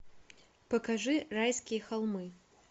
покажи райские холмы